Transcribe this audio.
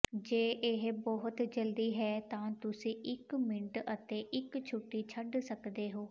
ਜੇ ਇਹ ਬਹੁਤ ਜਲਦੀ ਹੈ ਤਾਂ ਤੁਸੀਂ ਇਕ ਮਿੰਟ ਅਤੇ ਇਕ ਛੁੱਟੀ ਛੱਡ ਸਕਦੇ ਹੋ